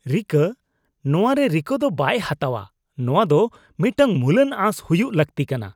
ᱨᱤᱠᱟᱹ? ᱱᱚᱶᱟ ᱨᱮ ᱨᱤᱠᱟᱹ ᱫᱚ ᱵᱟᱭ ᱦᱟᱛᱟᱣᱼᱟ, ᱱᱚᱣᱟ ᱫᱚ ᱢᱤᱫᱴᱟᱝ ᱢᱩᱞᱟᱱ ᱟᱸᱥ ᱦᱩᱭᱩᱜ ᱞᱟᱹᱠᱛᱤ ᱠᱟᱱᱟ ᱾